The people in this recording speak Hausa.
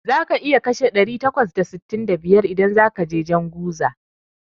Za ka iya kashe ɗari takwas da sittin da biyar idan zakaje jan guza